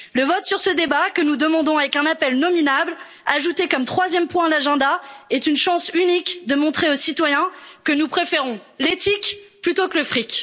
Le vote sur ce débat, que nous demandons avec un appel nominal, ajouté comme troisième point à l'ordre du jour, est une chance unique de montrer aux citoyens que nous préférons l'éthique plutôt que le fric.